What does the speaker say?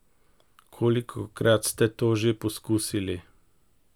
Kolikokrat ste to že poskusili?